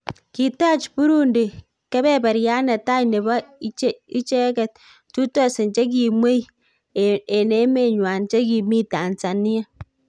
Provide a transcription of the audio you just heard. Kiitach Burundi kebeberiat netai nebo ichechet 2000 chegimwei emenywan chegimi Tanzania